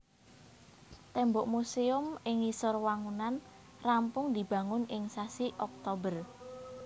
Témbok musèum ing ngisor wangunan rampung dibangun ing sasi Oktober